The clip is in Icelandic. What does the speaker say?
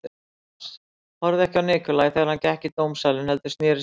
Thomas horfði ekki á Nikolaj þegar hann gekk í dómsalinn heldur sneri sér undan.